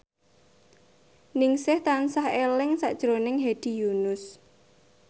Ningsih tansah eling sakjroning Hedi Yunus